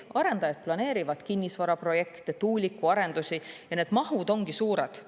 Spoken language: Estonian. Arendajad planeerivad kinnisvaraprojekte, tuulikuarendusi ja need mahud on suured.